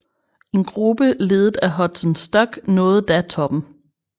En gruppe ledet af Hudson Stuck nåede da toppen